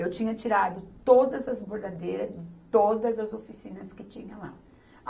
Eu tinha tirado todas as bordadeiras de todas as oficinas que tinha lá.